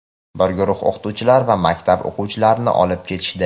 bir guruh o‘qituvchilar va maktab o‘quvchilarini olib ketishdi.